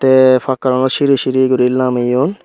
eh pakhar siri siri guri lameyoun.